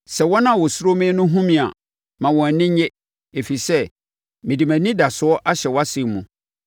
Sɛ wɔn a wɔsuro wo no hunu me a, ma wɔn ani nnye, ɛfiri sɛ mede mʼanidasoɔ ahyɛ wʼasɛm mu.